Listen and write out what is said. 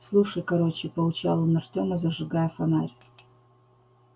слушай короче поучал он артема зажигая фонарь